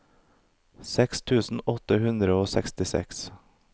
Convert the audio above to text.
seks tusen åtte hundre og sekstiseks